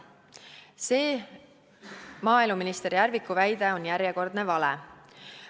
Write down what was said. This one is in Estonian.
" See maaeluminister Järviku väide on järjekordne vale.